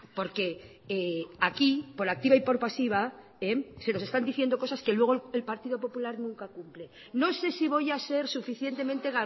porque aquí por activa y por pasiva se nos están diciendo cosas que luego el partido popular nunca cumple no sé si voy a ser suficientemente